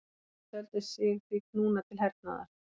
Þeir töldu sig því knúna til hernaðar.